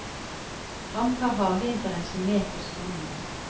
Han tar hageinteressen med på skolen.